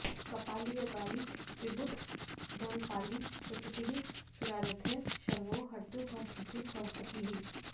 कपाली यज्ञाली विबुधदलपाली सुरपतिः सुराराध्यः शर्वो हरतु भवभीतिं भवपतिः